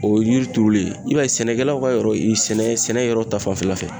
O ye yiri turuli ye i b'a ye sɛnɛkɛlaw ka yɔrɔ ee sɛnɛ sɛnɛ yɔrɔ ta fanfɛla fɛ